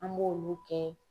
An b'olu kɛ